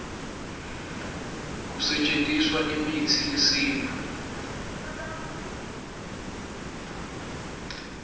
kusetjentiswa imitsi yesintfu